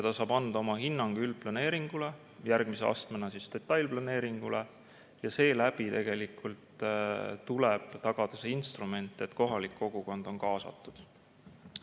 Ta saab anda oma hinnangu üldplaneeringule, järgmise astmena detailplaneeringule, ja seeläbi tegelikult tuleb tagada see instrument, et kohalik kogukond on kaasatud.